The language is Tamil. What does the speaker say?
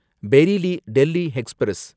பெரிலி டெல்லி எக்ஸ்பிரஸ்